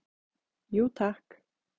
Jú takk